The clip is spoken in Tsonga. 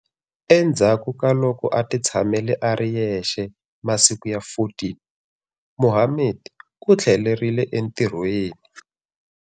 Endzhaku ka loko a titshamele a ri yexe masiku ya 14, Mohammed u tlhelerile entirhweni.